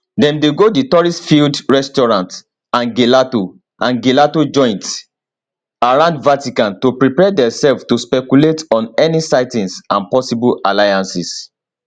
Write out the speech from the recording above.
dem dey go di touristfilled restaurants and gelato and gelato joints around vatican to prepare diaself to speculate on any sightings and possible alliances